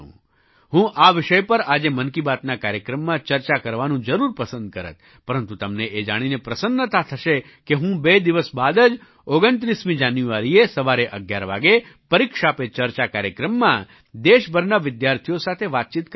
હું આ વિષય પર આજે મન કી બાતના આ કાર્યક્રમમાં ચર્ચા કરવાનું જરૂર પસંદ કરત પરંતુ તમને એ જાણીને પ્રસન્નતા થશે કે હું બે દિવસ બાદ જ 29 જાન્યુઆરીએ સવારે 11 વાગે પરીક્ષા પે ચર્ચા કાર્યક્રમમાં દેશભરના વિદ્યાર્થીઓ સાથે વાતચીત કરવાનો છું